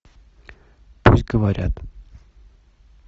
пусть говорят